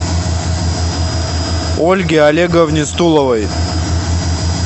ольге олеговне стуловой